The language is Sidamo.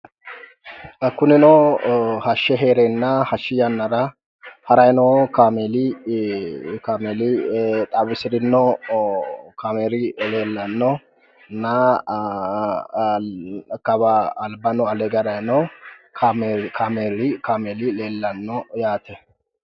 Xa kunino hashshe heereenna hashshi yannara harayi noo kaameeli kaameeli xawisirinno kaameeli leellannonna kawa albano ale hige haranni noo kaameeli leellanno yaate.